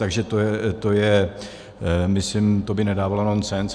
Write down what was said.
Takže to je, myslím, to by nedávalo nonsens.